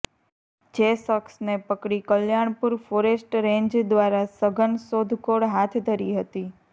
જે શખ્સને પકડી કલ્યાણપુર ફોરેસ્ટ રેંજ દ્વારા સઘન શોધખોળ હાથ ધરી હતી